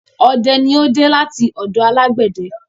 Ọdẹ ni ó dé láti ọ̀dọ alágbẹ̀dẹ